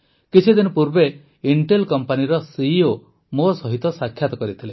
କିଛିଦିନ ପୂର୍ବେ ଇଂଟେଲ୍ କମ୍ପାନୀର ସିଇଓ ମୋ ସହିତ ସାକ୍ଷାତ କରିଥିଲେ